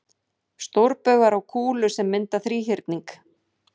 Stórbaugar á kúlu sem mynda þríhyrning.